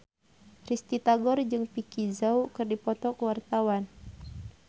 Risty Tagor jeung Vicki Zao keur dipoto ku wartawan